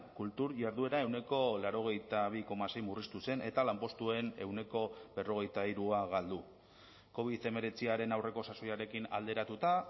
kultur jarduera ehuneko laurogeita bi koma sei murriztu zen eta lanpostuen ehuneko berrogeita hirua galdu covid hemeretziaren aurreko sasoiarekin alderatuta